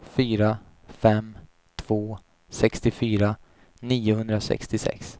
fyra fem två sextiofyra niohundrasextiosex